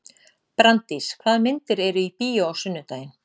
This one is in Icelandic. Branddís, hvaða myndir eru í bíó á sunnudaginn?